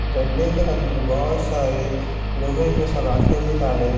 डंडे के अंदर बहुत सारे लोहे के सलाखें भी डाले--